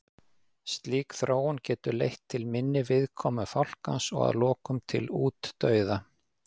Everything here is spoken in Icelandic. Slík þróun getur leitt til minni viðkomu fálkans og að lokum til útdauða.